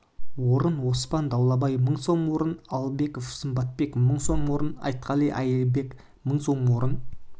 орын оспан даулбай мың сом орын алыбеков сымбатбек мың сом орын айткалы айылбек мың сом орын